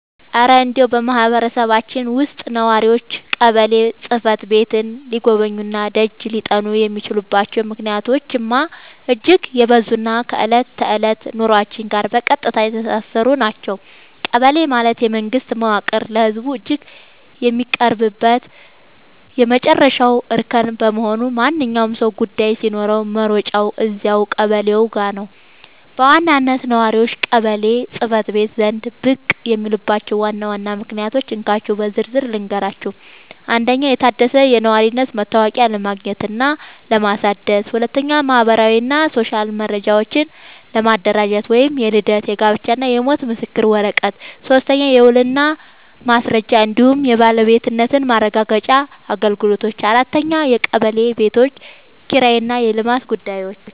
እረ እንደው በማህበረሰባችን ውስጥ ነዋሪዎች ቀበሌ ጽሕፈት ቤትን ሊጎበኙና ደጅ ሊጠኑ የሚችሉባቸው ምክንያቶችማ እጅግ የበዙና ከዕለት ተዕለት ኑሯችን ጋር በቀጥታ የተሳሰሩ ናቸው! ቀበሌ ማለት የመንግስት መዋቅር ለህዝቡ እጅግ የሚቀርብበት የመጨረሻው እርከን በመሆኑ፣ ማንኛውም ሰው ጉዳይ ሲኖረው መሮጫው እዚያው ቀበሌው ጋ ነው። በዋናነት ነዋሪዎች ቀበሌ ጽ/ቤት ዘንድ ብቅ የሚሉባቸውን ዋና ዋና ምክንያቶች እንካችሁ በዝርዝር ልንገራችሁ፦ 1. የታደሰ የነዋሪነት መታወቂያ ለማግኘትና ለማደስ 2. ማህበራዊና ሲቪል መረጃዎችን ለማደራጀት (የልደት፣ የጋብቻና የሞት ምስክር ወረቀት) 3. የውልና ማስረጃ እንዲሁም የባለቤትነት ማረጋገጫ አገልግሎቶች 4. የቀበሌ ቤቶች ኪራይና የልማት ጉዳዮች